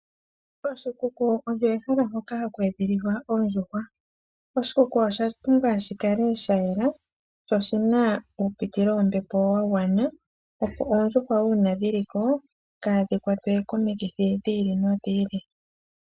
Oshikuku osho ehala lyoka ohaku edhililwa oondjuhwa. Oshikuku osha pumbwa shikale shayela sho shina uupitilo wombepo wagwana opo oondjuhwa uuna dhiliko kaadhi kwatwe komikithi dhi ili nodhi ili